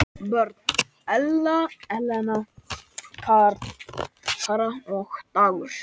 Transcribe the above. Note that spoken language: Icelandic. Börn: Elena, Kara og Dagur.